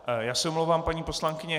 Já se omlouvám, paní poslankyně.